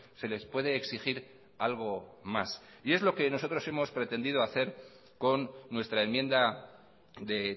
se les puede exigir algo más y es lo que nosotros hemos pretendido hacer con nuestra enmienda de